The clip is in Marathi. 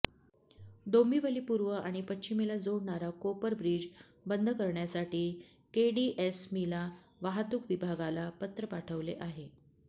डोंबिवली पूर्व आणि पश्चिमेला जोडणारा कोपर ब्रीज बंद करण्यासाठी केडीएसमीला वाहतूक विभागाला पत्र पाठवले आहे